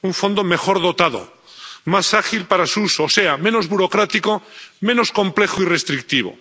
un fondo mejor dotado, más ágil para su uso, o sea, menos burocrático, menos complejo y restrictivo.